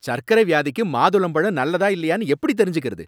சர்க்கரை வியாதிக்கு மாதுளம்பழம் நல்லதா இல்லையான்னு எப்படித் தெரிஞ்சுக்கறது?